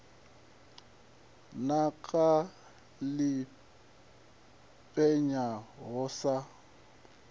naka ḽi penya ho sa